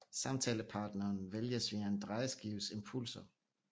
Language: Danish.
Samtalepartneren vælges via en drejeskives pulser